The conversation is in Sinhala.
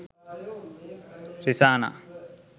risana